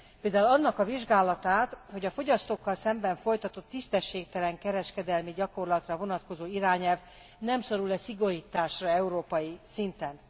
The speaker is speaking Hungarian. Például annak a vizsgálatát, hogy a fogyasztókkal szemben folytatott tisztességtelen kereskedelmi gyakorlatra vonatkozó irányelv nem szorul e szigorításra európai szinten.